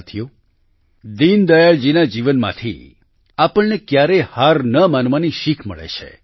સાથીઓ દીનદયાળજીના જીવનમાંથી આપણને ક્યારેય હાર ન માનવાની શીખ પણ મળે છે